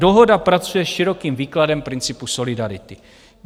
Dohoda pracuje s širokým výkladem principu solidarity.